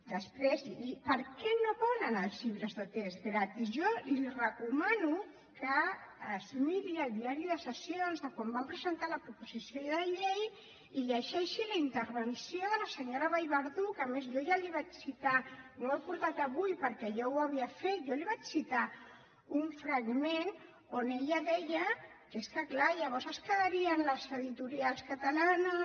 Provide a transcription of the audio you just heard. després per què no volen els llibres de text gratis jo li recomano que es miri el diari de sessions quan vam presentar la proposició de llei i llegeixi la intervenció de la senyora vallverdú que a més jo ja li vaig citar no ho he portat avui perquè ja ho havia fet un fragment on ella deia que és que clar llavors es quedarien les editorials catalanes